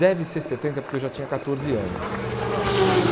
Deve ser setenta porque eu já tinha catorze anos né.